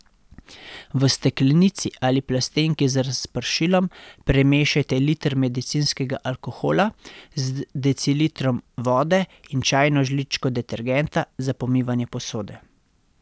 V steklenici ali plastenki z razpršilom premešajte liter medicinskega alkohola z decilitrom vode in čajno žličko detergenta za pomivanje posode.